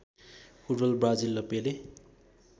football Brazil र पेले